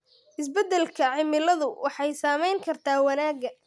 Isbeddelka cimiladu waxay saameyn kartaa wanaagga.